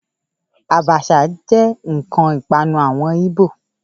Àbàshà jẹ́ ǹkan ìpanu àwọn Igbo